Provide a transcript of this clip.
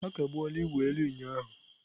A kagbuola ịwụ elu ụnyahụ.